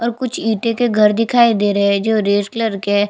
और कुछ इटे के घर दिखाई दे रहै है जो रेड कलर के है।